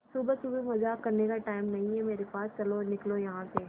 सुबह सुबह मजाक करने का टाइम नहीं है मेरे पास चलो निकलो यहां से